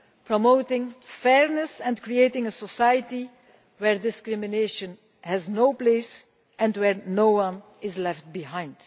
promoting fairness and creating a society where discrimination has no place and where no one is left behind.